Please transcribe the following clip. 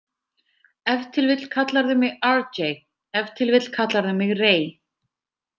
Ef til vill kallarðu mig RJ, ef til vill kallarðu mig Ray.